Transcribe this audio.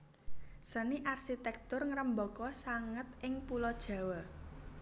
Seni arsitektur ngrembaka sanget ing Pulo Jawa